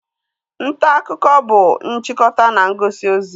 Ntaakụkọ bụ nchịkọta na ngosi ozi